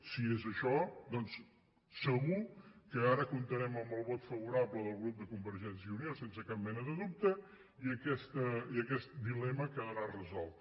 si és això doncs segur que ara comptarem amb el vot favorable del grup de convergència i unió sense cap mena de dubte i aquest dilema quedarà resolt